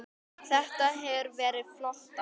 Þetta hefur verið flott ár.